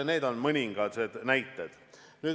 Need on mõningad näited.